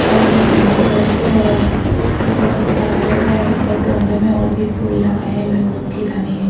और ये सामने की तरफ हैऔर घर थोड़ा- सा खराब लग रहा है और गमले में और भी फूल लगाए हुए है वो खिला नही हैअभी--